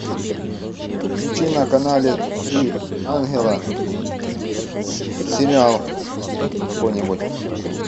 включи на канале три ангела сериал какой нибудь